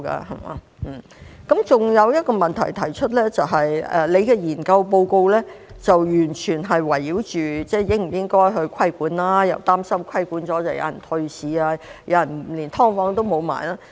我還要提出一個問題，就是局長的研究報告完全圍繞應否規管，又擔心規管後有人退市，就連"劏房"都沒有。